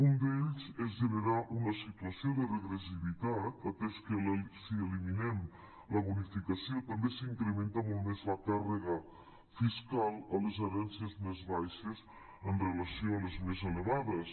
un d’ells és generar una situació de regressivitat atès que si eliminem la bonificació també s’incrementa molt més la càrrega fiscal a les herències més bai·xes amb relació a les més elevades